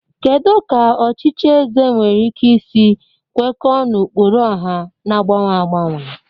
Kedu ka ọchịchị eze nwere ike isi kwekọọ n'ụkpụrụ ọha na-agbanwe agbanwe?